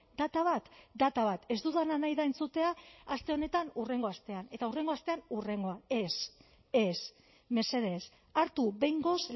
data bat data bat ez dudana nahi da entzutea aste honetan hurrengo astean eta hurrengo astean hurrengoa ez ez mesedez hartu behingoz